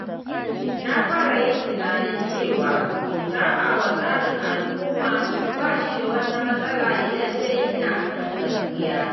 Na fara yin tunanin cewa saɓa wa tsarin al’umma ba shi da wata matsala idan dai ina kan gaskiya.